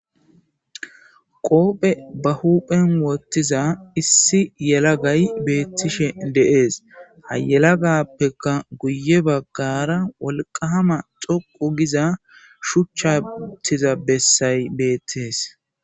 Qophe ba huuphen wottiza issi yelagay beettishe deees hayelagappeka guye baggara wolqahama xoqu giza shuchchatiza bessay beettees.